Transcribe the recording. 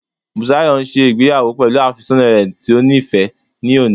Bùsáyọ̀ n ṣe ìgbéyàwó pẹ̀lú àfẹ́sọ́nà rẹ̀ tó níìfẹ́ ní òní